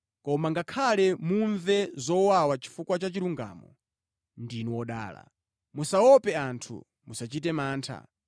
Koma ngakhale mumve zowawa chifukwa cha chilungamo, ndinu odala. “Musaope anthu, musachite mantha.”